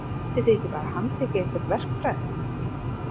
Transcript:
Getið þið ekki bara handtekið einhvern verkfræðing?